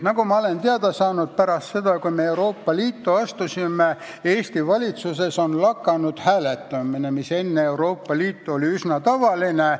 Ma olen aga teada saanud, et pärast seda, kui me Euroopa Liitu astusime, on Eesti valitsuses lakanud hääletamine, mis enne Euroopa Liitu oli üsna tavaline.